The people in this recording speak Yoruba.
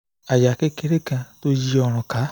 àyà kékeré kan tó yí ọrùn ká